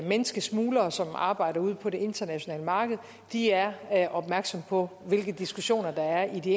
menneskesmuglere som arbejder ude på det internationale marked er opmærksomme på hvilke diskussioner der er i de